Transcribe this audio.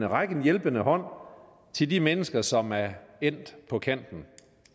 række en hjælpende hånd til de mennesker som er endt på kanten